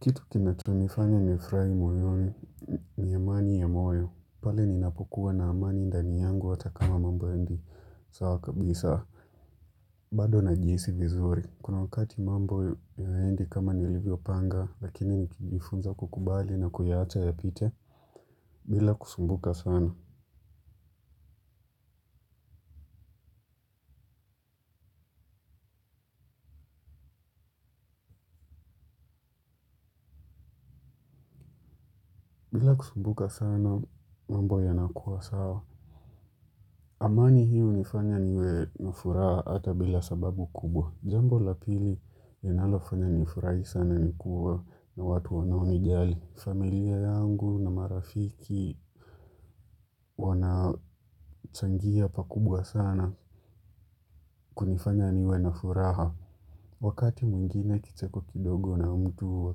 Kitu kinacho nifanya nifurai moyoni ni amani ya moyo. Pale ninapokuwa na amani ndani yangu hata kama mambo yaendi sawa kabisa. Bado najihisi vizuri. Kuna wakati mambo yaendi kama nilivyo panga lakini nikijifunza kukubali na kuyaacha yapite. Bila kusumbuka sana. Bila kusumbuka sana mambo yanakuwa sawa. Amani hiyo unifanya niwe na furaha hata bila sababu kubwa. Jambo la pili linalofanya nifurahi sana nikuwa na watu wanao nijali. Familia yangu na marafiki wanachangia pakubwa sana kunifanya niwe na furaha. Wakati mwingina kicheko kidogo na mtu wa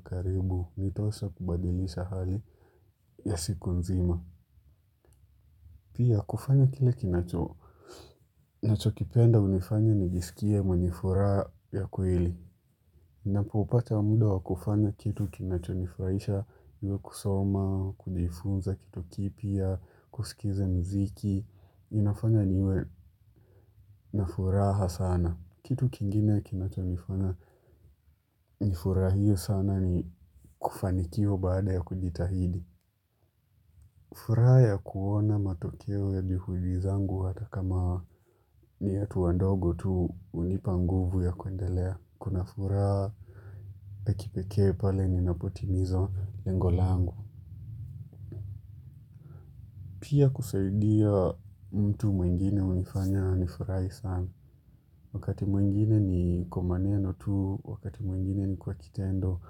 karibu, nitosha kubadilisha hali ya siku nzima. Pia kufanya kile kinacho, nacho kipenda unifanya nijisikie mwenye furaha ya kweli. Napopata muda wa kufanya kitu kinacho nifuraisha iwe kusoma, kujifunza kitu kipya, kusikiza mziki, inafanya niwe na furaha sana. Kitu kingine ya kinachonifanya nifurahie sana ni kufanikiwa baada ya kujitahidi. Furaha ya kuona matokeo ya juhudi zangu hata kama ni hatua ndogo tu unipa nguvu ya kundelea. Kuna furaha ya kipeke pale ninapotimiza lengo langu. Pia kusaidia mtu mwingine unifanya nifurai sana. Wakati mwingine ni kwa maneno tu wakati mwingine ni kwa kitendo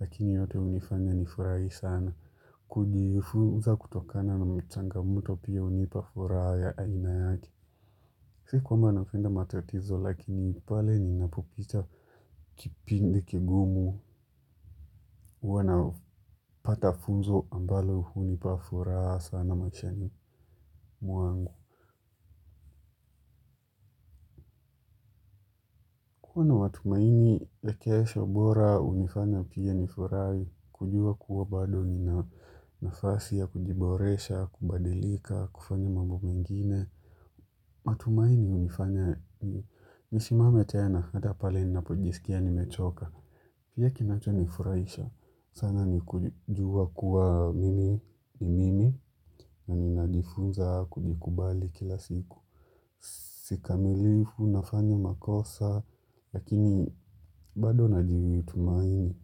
lakini yote unifanya nifurai sana. Kujifuza kutokana na mchangamoto pia unipa furaha ya aina yake. Siku kwamba napenda matatizo lakini pale ninapopita kipindi kigumu huwa napata funzo ambalo hunipa furaha sana maishani mwangu. Matumaini ya kesho bora hunifanya pia nifurahi. Kujua kuwa bado nina nafasi ya kujiboresha, kubadilika, kufanya mambo mengine. Matumaini unifanya nisimame tena hata pale ninapo jisikia ni mechoka pia kinacho nifurahisha sana ni kujua kuwa mimi ni mimi. Na ninajifunza kujikubali kila siku. Kikamilifu nafanya makosa. Lakini bado najitumaini.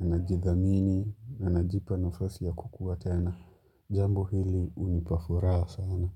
Na najithamini. Na najipa nafasi ya kukua tena. Jambo hili unipa furaha sana.